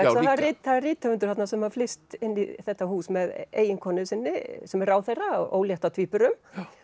er rithöfundur þarna sem flyst inn í þetta hús með eiginkonu sinni sem er ráðherra ólétt af tvíburum